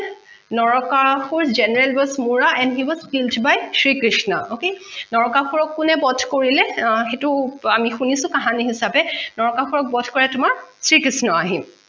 Narakasur general was mora and he was killed by sri krishna নৰকাসুৰক কোনে বধ কৰিলে সেইটো আমি হুনিছো কাহানী হিচাপে নৰকাসুৰক বধ কৰে তোমাৰ শ্ৰী কৃষ্ণই